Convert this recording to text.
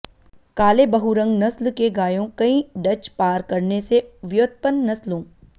काले बहुरंग नस्ल के गायों कई डच पार करने से व्युत्पन्न नस्लों